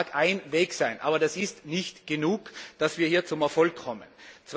Das mag ein Weg sein, aber das ist nicht genug, wenn wir hier zum Erfolg kommen wollen.